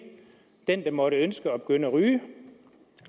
den der måtte ønske at begynde at ryge